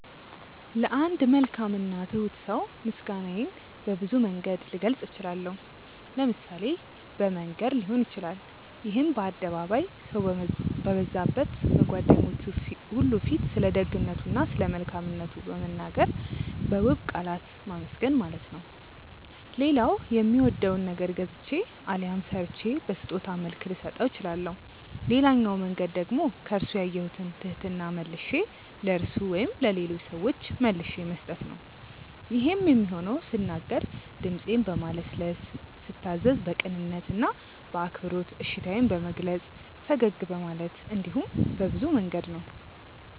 ለአንድ መልካም እና ትሁት ሰው ምስጋናዬን በብዙ መንገድ ልገልጽ እችላለሁ። ለምሳሌ በመንገር ሊሆን ይችላል ይሄም በአደባባይ፣ ሰው በበዛበት፣ በጓደኞቹ ሁሉ ፊት ስለደግነቱ እና ስለመልካምነቱ በመናገር በውብ ቃላት ማመስገን ማለት ነው። ሌላው የሚወደውን ነገር ገዝቼ አሊያም ሰርቼ በስጦታ መልክ ልሰጠው እችላለሁ። ሌላኛው መንገድ ደግሞ ከርሱ ያየሁትን ትህትና መልሼ ለርሱ ወይም ለሌሎች ሰዎች መልሼ መስጠት ነው። ይሄም የሚሆነው ስናገር ድምጼን በማለስለስ፤ ስታዘዝ በቅንነት እና በአክብሮት እሺታዬን በመግለጽ፤ ፈገግ በማለት እንዲሁም በብዙ መንገድ ነው።